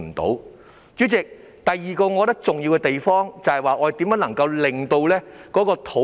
代理主席，第二個我覺得重要的地方是如何逐步落實發展土地。